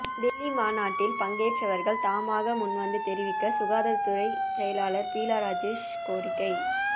டெல்லி மாநாட்டில் பங்கேற்றவர்கள் தாமாக முன்வந்து தெரிவிக்க சுகாதாரத்துறை செயலாளர் பீலா ராஜேஷ் கோரிக்கை